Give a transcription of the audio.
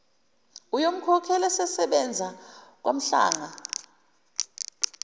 uyomkhokhela esesebenza kwanhlanga